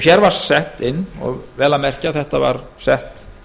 hér var sett inn og vel að merkja þetta var sett